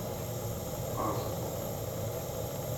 аско